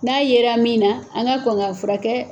N'a yera min na an ka kɔn k'a fura kɛ.